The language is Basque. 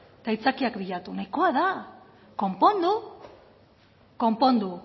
eta aitzakiak bilatu nahikoa da konpondu konpondu